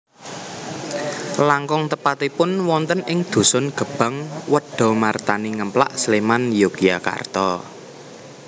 Langkung tepatipun wonten ing dhusun Gebang Wedamartani Ngemplak Sléman Yogyakarta